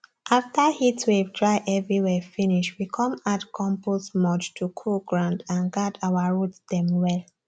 after heatwave dry everywhere finish we come add compost mulch to cool ground and guard our root dem well